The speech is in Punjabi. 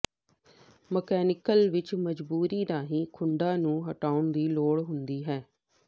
ਮਕੈਨੀਕਲ ਵਿਚ ਮਜਬੂਰੀ ਰਾਹੀਂ ਖੁੱਡਾਂ ਨੂੰ ਹਟਾਉਣ ਦੀ ਲੋੜ ਹੁੰਦੀ ਹੈ